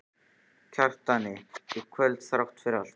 Kjartani í kvöld þrátt fyrir allt.